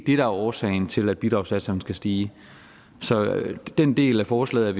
er årsagen til at bidragssatserne skal stige så den del af forslaget